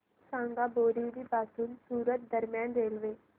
सांगा बोरिवली पासून सूरत दरम्यान रेल्वे